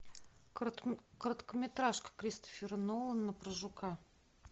короткометражка кристофера нолана про жука